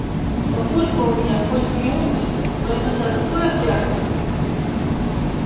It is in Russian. папулька у меня хоть и умный но иногда такое брякнет